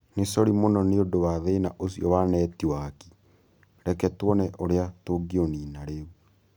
Nĩ sori mũno nĩ ũndũ wa thĩna ũcio wa netiwaki. Reke tuone ũrĩa tũngĩũniina rĩu.